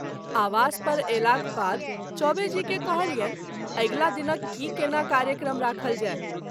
आवास पर अयलाक बाद चौबे जी के कहलियनि अगिला दिनक की केना कार्यक्रम राखल जाय।